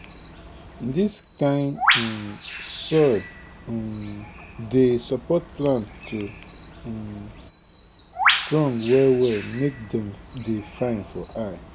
dis kind um soil um dey support plant to um strong well well make dem dey fine for eye